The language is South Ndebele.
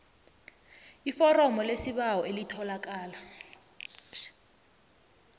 iforomo lesibawo elitholakala